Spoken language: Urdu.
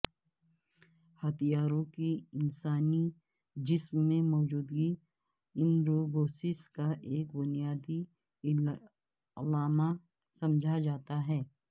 ہتھیاروں کی انسانی جسم میں موجودگی اندروبوسیس کا بنیادی علامہ سمجھا جاتا ہے